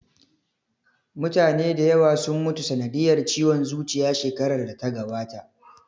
Mutane da yawa sun mutu sanadiyar ciwon zuciya shekarar da ta gabata